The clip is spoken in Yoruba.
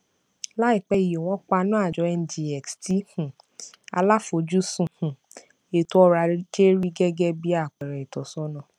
láìpé yìí wọn paná àjọ ngx tí um aláfojúsùn um ètò ọrọajé rí gẹgẹ bí àpẹẹrẹ ìtọsọnà